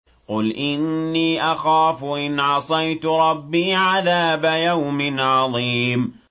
قُلْ إِنِّي أَخَافُ إِنْ عَصَيْتُ رَبِّي عَذَابَ يَوْمٍ عَظِيمٍ